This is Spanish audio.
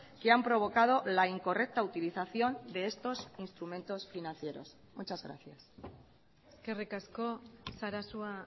que han provocado la incorrecta utilización de estos instrumentos financieros muchas gracias eskerrik asko sarasua